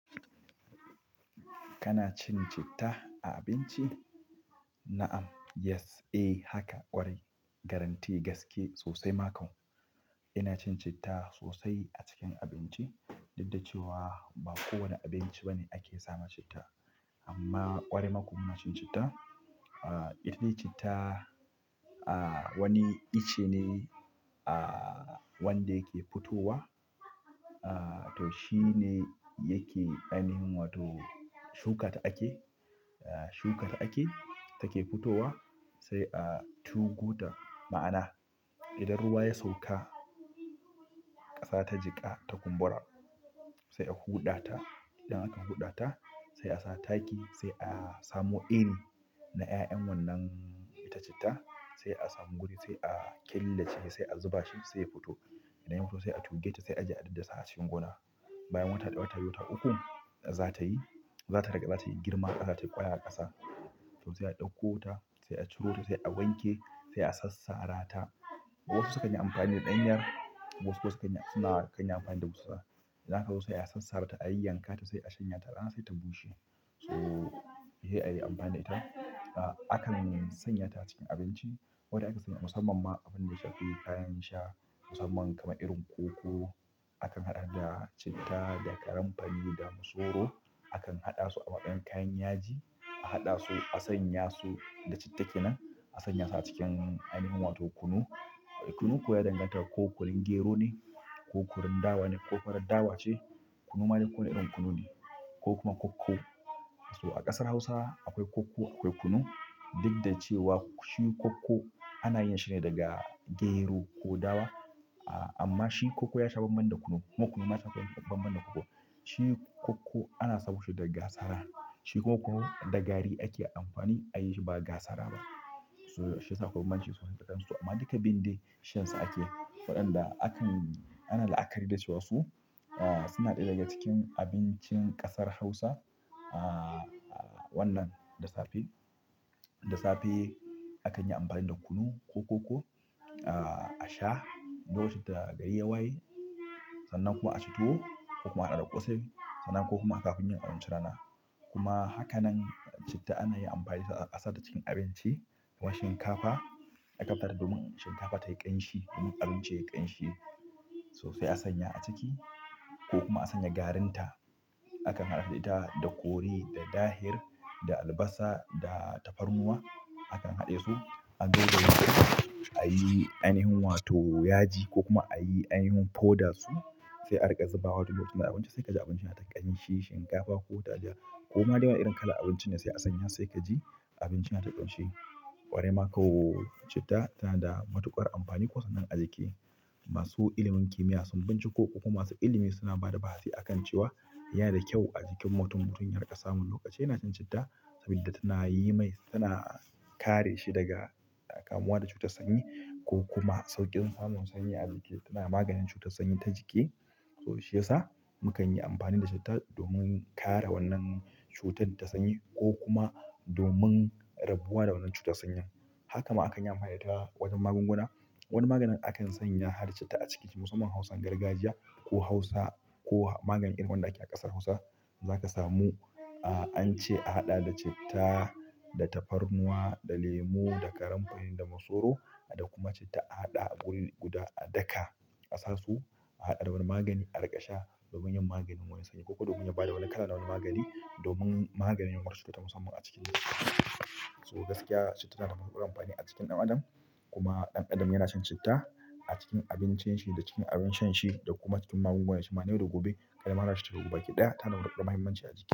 Kana cin citta a abinci? Na'am, yes, ehh haka ƙwarai. Garanti, gaske, sosai ma kwa ina cin citta sosai a cikin abinci. Duk da cewa ba kowane abinci bane ake samun citta. Amma ƙwarai ma kwa muna cin citta. Ita dai citta, ahh wani icce ne, ahh wanda yake fitowa. To shi ne yake ainihin wato shuka ta ake, shuka ta ake, take fitowa sai a tugota. Ma'ana idan ruwa ya sauka ƙasa ta jiƙa ta kumbura sai a huɗa ta. Idan aka huɗa ta sai a sa taki, sai a samo iri na 'ya'yan wannan ita citta, sai a samu guri sai a killace sai a zuba shi sai ya fito. Idan ya fito sai a tuge ta sai a je a daddasa a cikin gona. Bayan wata ɗaya wata biyu wata ukku za ta yi, za ta rag. Za ta yi girma, za ta yi ƙwayar ƙasa. To sai a ɗauko ta sai a ciro ta sai a wanke sai a sassara ta. Wasu sukan yi amfani da ɗanyar wasu kuma suna kan yi amfani da dussa. Za ka zo sai a sassarata a yayyankata sai shanya ta rana sai ta bushe to he a yi amfani da ita. Akan sanya ta cikin abinci. Wadda ake sanya, musamman ma abin da ya shafi kayan sha musamman kamar irin koko. Akan haɗa da citta, da karanfani, da masoro. Akan haɗa su a waɗannan kayan yaji. A haɗa su, a sanya su da citta kenan. A sanya su a cikin ainihin wato kunu. Kunu kuwa ya danganta da ko kunun gero ne, ko kunun dawa ne ko farar dawa ce. Kunu ma dai ko wane irin kunu ne ko kuma kokko. To a ƙasar Hausa akwai kokko akwai kunu. Daddaji cewa shi koko ana yin shi ne daga gero ko dawa. Amma shi kokko ya sha bamban da kunu. Kuma kunu ma ta sha bamban da kokko. Shi koko ana sawo shi da gasara. Shi kunu da gari ake amfani a yi shi ba ga sara ba. To shi yasa akwai bambamci sosai. Amma duka biyun dai shansu ake. Waɗanda akan-- ana la'akari da cewa su suna ɗaya daga cikin abincin ƙasar Hausa. Aaa wannan da safe, da safe akan yi amfani da kunu ko kokko, ahh a sha. Lokacin da gari ya waye. Sannan kuma a ci tuwo ko kuma a haɗa da ƙosai sannan ko kuma kafin yin abincin rana. Kuma haka nan citta ana yi amfani da ita a sata cikin abinci. Wa shinkafa, a dafata domin shinkafa tayi ƙanshi domin abinci yayi ƙanshi sosai a sanya a ciki ko kuma a sanya garin ta. Akan haɗa ita da kori, da dahir, da albasa, da tafarnuwa. Akan haɗe su, a zo a yi ainihin wato yaji ko kuma a yi ainihin powder da su. Sai a riƙa zubawa duk lokacin da abinci sai kaji abinci yana ta ƙanshi. Shinkafa ko taliya ko ma dai wane irin kalar abinci ne sai kaji abinci nata ƙanshi ƙwarai ma kwa. Citta tana da matuƙar amfani kusan nan a jiki. Masu ilimin kimiya ko kuma masu ilimi suna bada ba'a sin cewa yana da kyau a jikin mutum, mutum ya dunga sa mun lokaci yana cin citta saboda tana yimai suna kare shi daga kamuwa da cutar sanyi ko kuma sauƙin samun sanyi a jiki, yana maganin cutar sani na jiki to shiya sa mu kan yi amfani da citta domin kare wannan cutar ta sanyi ko kuma domin rabuwa da wannan cutar sanyin. Haka ma akan yi amfani da ita wajen magunguna. Wani maganin akan sanya har citta a ciki. Musamman Hausan gargajiya ko Hausa ko magani irin wanda ake a ƙasar Hausa za ka samu. An ce a haɗa da citta, da tafarnuwa, da lemu, da karanfani, da masoro da kuma citta a haɗa guri guda a daka asasu. A haɗa da wani magani a riƙa sha domin yin maganin sanyi ko domin ya bada wani kalar na wani magani domin maganin wasu cuta musamman a cikin jiki. To gaskiya citta tana da matuƙar amfani a cikin ɗan adam. Kuma ɗan adam yana shan citta a cikin abincin shi da cikin abin shan shi da kuma cikin magunguna. Shima na yau da gobe, kai ma haɗa shi baki ɗaya tana da matuƙar muhimmanci a jiki.